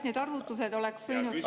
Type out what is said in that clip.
Need arvutused oleks võinud ju …